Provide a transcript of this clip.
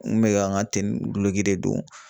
N kun bɛ ka n ka duloki de don